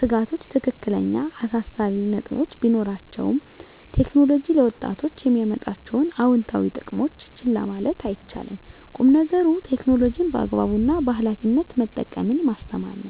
ስጋቶች ትክክለኛ አሳሳቢ ነጥቦች ቢኖራቸውም፣ ቴክኖሎጂ ለወጣቶች የሚያመጣቸውን አዎንታዊ ጥቅሞች ችላ ማለት አይቻልም። ቁም ነገሩ ቴክኖሎጂን በአግባቡ እና በኃላፊነት መጠቀምን ማስተማር ነው።